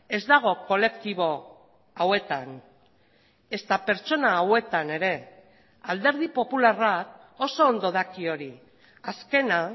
ez dago kolektibo hauetan ezta pertsona hauetan ere alderdi popularrak oso ondo daki hori azkena